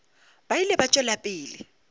ba ile ba tšwela pele